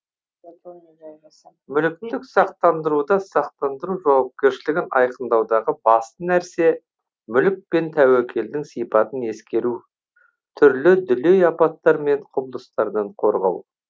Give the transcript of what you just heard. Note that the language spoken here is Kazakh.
мүліктік сақтандыруда сақтандыру жауапкершілігін айқындаудағы басты нәрсе мүлік пен тәуекелдің сипатын ескеру түрлі дүлей апаттар мен құбылыстардан қорғау